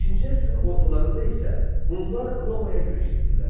5-ci əsrin ortalarında isə Hunlar Romaya yürüş etdilər.